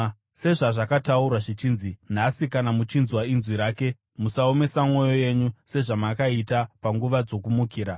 Sezvazvakataurwa zvichinzi: “Nhasi, kana muchinzwa inzwi rake, musaomesa mwoyo yenyu sezvamakaita panguva dzokumukira.”